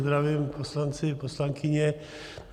Zdravím, poslanci, poslankyně.